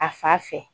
A fa fɛ